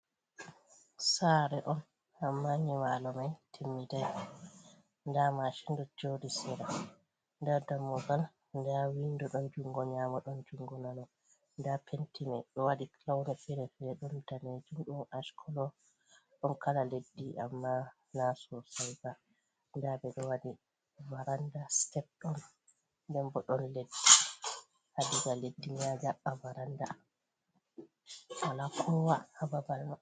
Saare on ammaa nyiɓaalo may timmiday, nda maacin ɗo jooɗi sera, nda dammugal, nda winndo ,ɗon junngo nyaamo ,ɗon junngo nano. Nda penti may, ɓe waɗi pawne fere fere, ɗon daneejum, ɗon accolo ,ɗon kala leddi ammaa naa sosay ba. Nda ɓe ɗo waɗi varannda sitepdawun. Nda bo ɗon leddi, haa diga leddi a ƴaɓɓa barannda wala koowa haa babal may